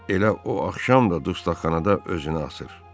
Elə o axşam da dustaqxanada özünü asır.